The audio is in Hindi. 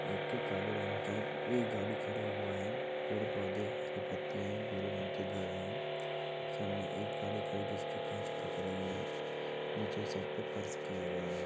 एक ए काले रंग का ए गाड़ी खाड़ा हुआ है पेड़ पौधे हरी पत्ती है बोर रंग के घर है सामने एक गाड़ी खड़ी जिसकी कांच दिख रही है नीचे साइड किया गया है।